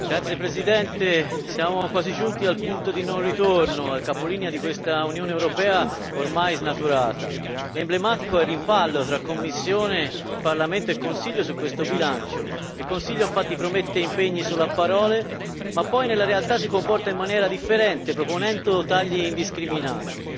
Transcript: Signor Presidente, onorevoli colleghi, siamo quasi giunti al punto di non ritorno, al capolinea di questa Unione europea ormai snaturata. Emblematico è il rimpallo tra Commissione, Parlamento e Consiglio su questo bilancio. Il Consiglio, infatti, promette impegni solo a parole, ma poi nella realtà si comporta in maniera differente, proponendo tagli indiscriminati.